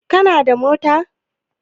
Kana da mota?